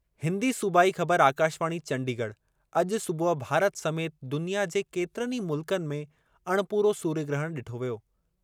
हिंदी सूबाई ख़बरु आकाशवाणी चंडीगढ़ अॼु सुबुह भारत समेति दुनिया जे केतिरनि ई मुल्कनि में अणिपूरो सूर्य ग्रहण डि॒ठो वियो।